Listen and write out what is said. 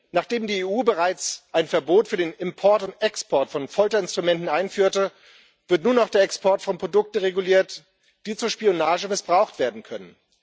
Nachdem die EU bereits ein Verbot für den Import und Export von Folterinstrumenten einführte, wird nun auch der Export von Produkten reguliert, die zur Spionage missbraucht werden können.